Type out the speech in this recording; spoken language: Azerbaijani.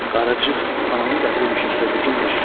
Qaracıq ananı gətirmişiksə bizimdir.